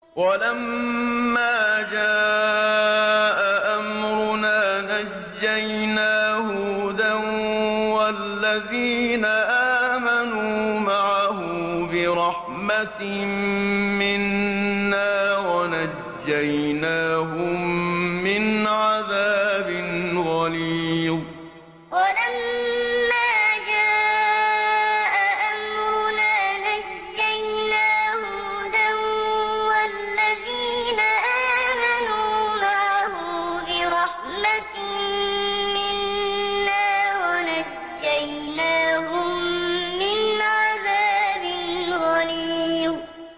وَلَمَّا جَاءَ أَمْرُنَا نَجَّيْنَا هُودًا وَالَّذِينَ آمَنُوا مَعَهُ بِرَحْمَةٍ مِّنَّا وَنَجَّيْنَاهُم مِّنْ عَذَابٍ غَلِيظٍ وَلَمَّا جَاءَ أَمْرُنَا نَجَّيْنَا هُودًا وَالَّذِينَ آمَنُوا مَعَهُ بِرَحْمَةٍ مِّنَّا وَنَجَّيْنَاهُم مِّنْ عَذَابٍ غَلِيظٍ